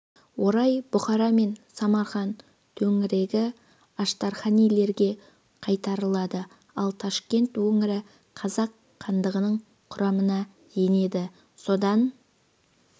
орай бұхара мен самарқан төңірегі аштарханилерге қайтарылады ал ташкент өңірі қазақ хандығының құрамына енеді содан